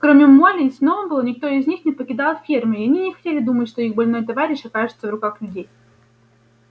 кроме молли и сноуболла никто из них не покидал фермы и они не хотели думать что их больной товарищ окажется в руках людей